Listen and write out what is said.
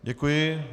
Děkuji.